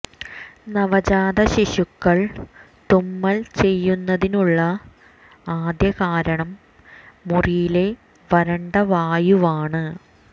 നവജാത ശിശുക്കൾ തുമ്മൽ ചെയ്യുന്നതിനുള്ള ആദ്യ കാരണം മുറിയിലെ വരണ്ട വായുവാണ്